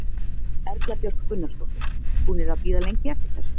Erla Björg Gunnarsdóttir: Búnir að bíða lengi eftir þessu?